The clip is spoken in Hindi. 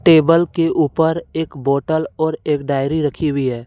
टेबल के ऊपर एक बोतल और एक डायरी रखी हुई है।